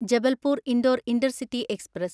Jabalpur Indore intercity express